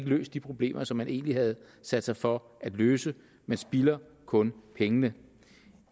løst de problemer som man egentlig havde sat sig for at løse man spilder kun pengene